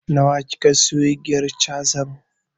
Nawa kika siya igiyar cazan?